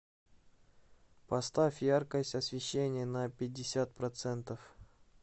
поставь яркость освещения на пятьдесят процентов